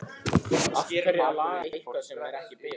Af hverju að laga eitthvað sem er ekki bilað?